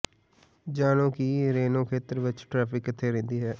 ਜਾਣੋ ਕਿ ਰੇਨੋ ਖੇਤਰ ਵਿੱਚ ਟ੍ਰੈਫਿਕ ਕਿੱਥੇ ਰਹਿੰਦੀ ਹੈ